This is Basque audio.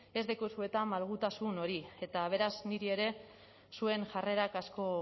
ez daukazue malgutasun hori eta beraz niri ere zuen jarrerak asko